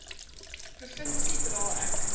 provinsie dra ek